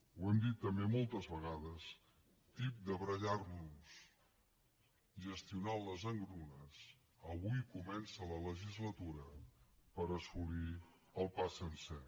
ho hem dit també moltes vegades tips de barallar nos gestionant les engrunes avui comença la legislatura per assolir el pa sencer